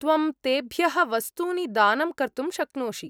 त्वं तेभ्यः वस्तूनि दानं कर्तुं शक्नोषि।